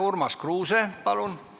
Urmas Kruuse, palun!